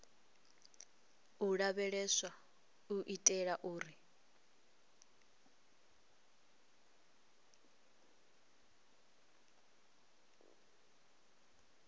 u lavheleswa u itela uri